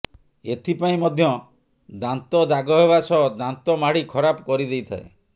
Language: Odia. ଏଥିପାଇଁ ମଧ୍ୟ ଦାନ୍ତ ଦାଗ ହେବା ସହ ଦାନ୍ତ ମାଢି ଖରାପ କରିଦେଇଥାଏ